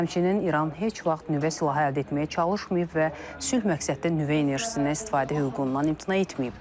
Həmçinin İran heç vaxt nüvə silahı əldə etməyə çalışmayıb və sülh məqsədli nüvə enerjisindən istifadə hüququndan imtina etməyib.